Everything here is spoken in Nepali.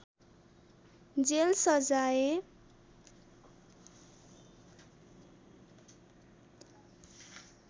जेल सजाय